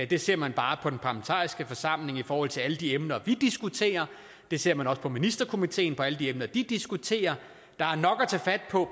det ser man bare på den parlamentariske forsamling i forhold til alle de emner vi diskuterer det ser man også på ministerkomiteen altså på alle de emner de diskuterer der er nok at tage fat på